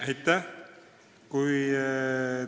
Aitäh!